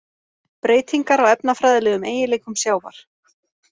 Breytingar á efnafræðilegum eiginleikum sjávar: